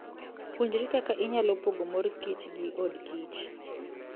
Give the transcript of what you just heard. Puonjri kaka inyalo pogo mor kich gi odokkich.